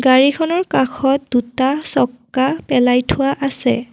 গাড়ীখনৰ কাষত এটা চকা পেলাই থোৱা আছে।